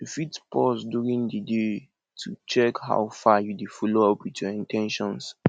you fit pause during di day to check how far you dey follow up with your in ten tions